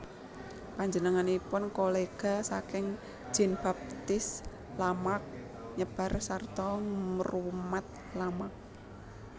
Panjenenganipun kolega saking Jean Baptiste Lamarck nyebar sarta nrumat Lamarck